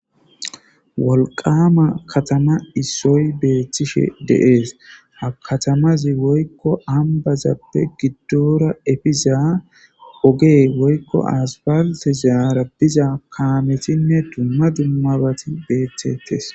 Wolqamma kelatama issoy bettishe de'es ha katamazi woykko ambasappe goddora epiza ooge woykko aspaltezara bettiza kaametinne dumma dummabatto beettetes